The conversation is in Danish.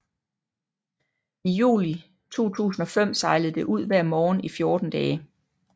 I juli 2005 sejlede det ud hver morgen i 14 dage